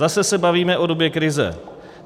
Zase se bavíme o době krize.